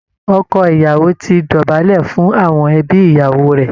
Ọkọ ìyàwò ti dọ̀bálẹ̀ fún àwọn ẹbí ìyàwó rẹ̀